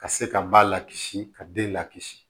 Ka se ka ba lakisi ka den lakisi